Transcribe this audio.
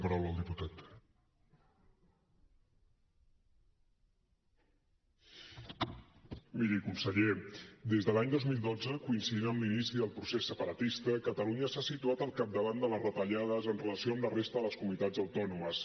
miri conseller des de l’any dos mil dotze coincidint amb l’inici del procés separatista catalunya s’ha situat al capdavant de les retallades amb relació a la resta de les comunitats autònomes